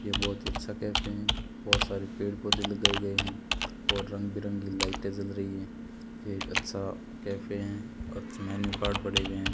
ये बहुत ही अच्छा कैफे है बहुत सारे पेड़ पौधे लगाए गए हैं और रंग बिरंगी लाइटें जल रही हैं एक अच्छा कैफे हैं और कुछ मेनू कार्ड पड़े हुए हैं।